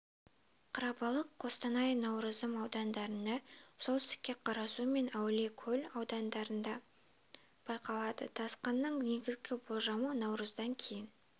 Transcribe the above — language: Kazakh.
қарабалық қостанай науырзым аудандарында солтүстікте қарасу мен әулиекөл аудандарында байқалады тасқынның негізгі болжамы наурыздан кейін